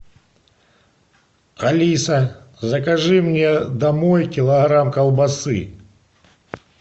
алиса закажи мне домой килограмм колбасы